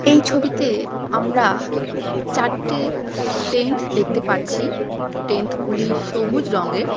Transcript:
এই ছবিতে আমারা চারটে টেন্ট দেখতে পাচ্ছি টেন্ট গুলি সবুজ রঙের।